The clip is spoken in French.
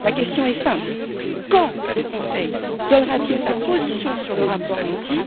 Ma question est simple quand le Conseil donnera t il sa position sur le rapport Monti?